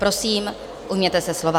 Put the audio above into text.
Prosím, ujměte se slova.